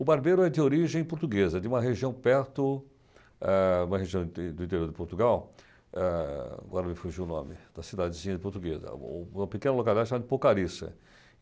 O Barbeiro é de origem portuguesa, de uma região perto, ah uma região do do interior de Portugal, ah agora me fugiu o nome, da cidadezinha de Portuguesa, uma uma pequena localidade chamada de Porcariça.